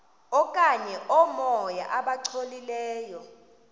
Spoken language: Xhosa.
okanye oomoya abangcolileyo